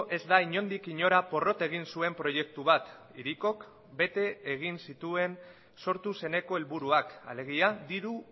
ez da inondik inora porrot egin zuen proiektu bat hirikok bete egin zituen sortu zeneko helburuak alegia diru